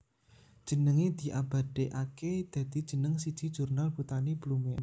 Jenengé diabadèkaké dadi jeneng siji jurnal botani Blumea